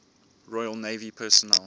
royal navy personnel